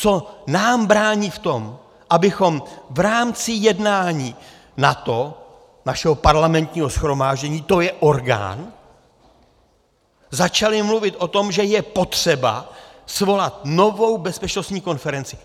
Co nám brání v tom, abychom v rámci jednání NATO, našeho parlamentního shromáždění, to je orgán, začali mluvit o tom, že je potřeba svolat novou bezpečnostní konferenci.